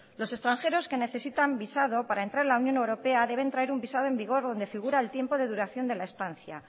los extranjeros que necesitan visado para entrar en la unión europea deben traer un visado en vigor donde figura el tiempo de duración de la estancia